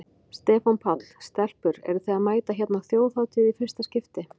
Stefán Páll: Stelpur eruð þið að mæta hérna á Þjóðhátíð í fyrsta skipti?